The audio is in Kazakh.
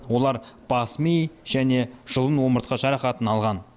олар бас ми және жұлын омыртқа жарақатын алған